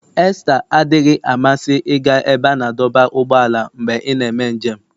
Esther adịghị amasị ịga ebe a na-adọba ụgbọala mgbe ị na-eme njem.